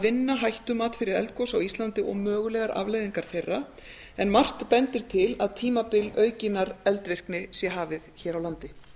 vinna hættumat fyrir eldgos á íslandi og mögulegar afleiðingar þeirra en margt bendir til að tímabil aukinnar eldvirkni sé hafið hér á landi